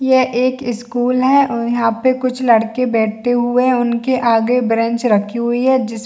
यह एक स्कूल है और यहाँ पे कुछ लड़के बैठे हुए है उनके आगे बेंच रखी हुई है जिस--